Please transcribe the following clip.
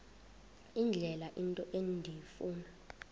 indlela into endifuna